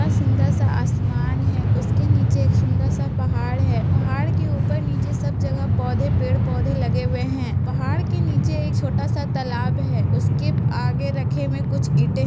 आ सुंदर-सा आसमान है उसके नीचे एक सुंदर-सा पहाड़ है| पहाड़ के ऊपर नीचे सब जगह पौधे पेड़-पौधे लगे हुए हैं| पहाड़ के नीचे एक छोटा-सा तालाब है उसके आगे रखे हुए कुछ ईटे--